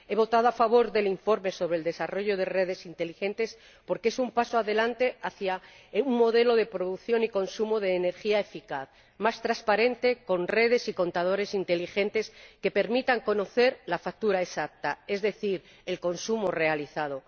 He votado a favor del informe sobre el desarrollo de redes inteligentes porque es un paso adelante hacia un modelo de producción y consumo de energía eficaz, más transparente, con redes y contadores inteligentes que permiten conocer la factura exacta, es decir, el consumo realizado.